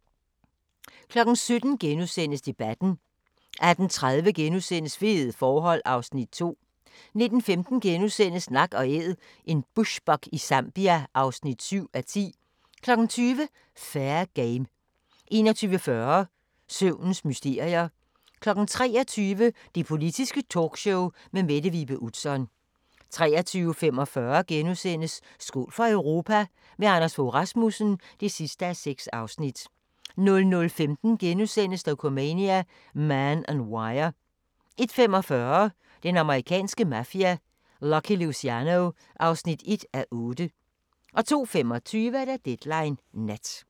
17:00: Debatten * 18:30: Fede forhold (Afs. 2)* 19:15: Nak & Æd – en bushbuck i Zambia (7:10)* 20:00: Fair Game 21:40: Søvnens mysterier 23:00: Det Politiske Talkshow med Mette Vibe Utzon 23:45: Skål for Europa – med Anders Fogh Rasmussen (6:6)* 00:15: Dokumania: Man On Wire * 01:45: Den amerikanske mafia: Lucky Luciano (1:8) 02:25: Deadline Nat